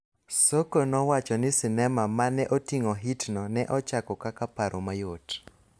Soko nowacho ni sinema ma ne oting�o hitno ne ochako kaka paro mayot.